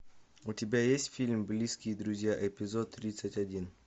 у тебя есть фильм близкие друзья эпизод тридцать один